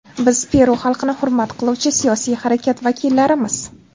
Biz Peru xalqini hurmat qiluvchi siyosiy harakat vakillarimiz.